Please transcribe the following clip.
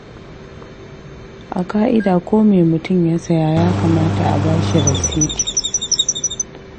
A ƙa'ida ko me mutum ya saya ya kamata a ba shi rasiti.